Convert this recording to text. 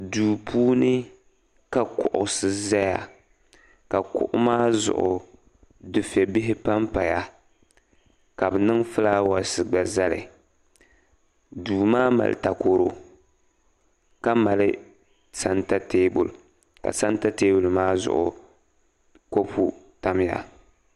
Duu puuni ka kuɣusi zaya ka kuɣu maa zuɣu dufɛbihi pa m-paya ka bɛ niŋ ɡulaawɛsi ɡba zali duu maa mali takɔro ka mali santa teebuli ka santa teebuli maa zuɣu ka kɔpu tamya